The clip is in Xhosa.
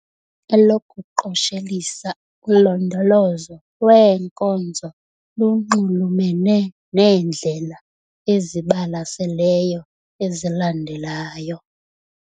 Elokuqoshelisa, ulondolozo lweenkozo lunxulumene neendlela ezibalaseleyo ezilandelayo.